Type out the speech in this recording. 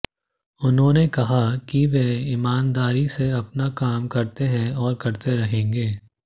उन्होंने कहा कि वे ईमानदारी से अपना काम करते है और करते रहेंगे